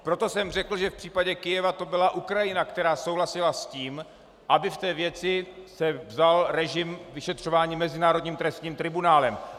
Proto jsem řekl, že v případě Kyjeva to byla Ukrajina, která souhlasila s tím, aby v té věci se vzal režim vyšetřování Mezinárodním trestním tribunálem.